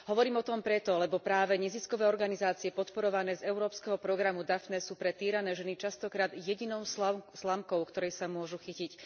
Hovorím o tom preto, lebo práve neziskové organizácie podporované z európskeho programu Daphne sú pre týrané ženy častokrát jedinou slamkou, ktorej sa môžu chytiť.